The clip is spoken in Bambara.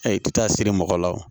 k'i taa siri mɔgɔ la wo